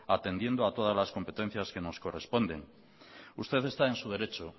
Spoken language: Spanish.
atendiendo a todas las competencias que nos corresponden usted está en su derecho